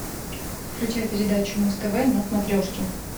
включай передачу муз тв на смотрешке